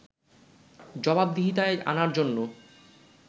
জবাবদিহিতায় আনার জন্য